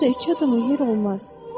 Orda iki adama yer olmaz.